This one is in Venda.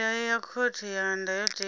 milayo ya khothe ya ndayotewa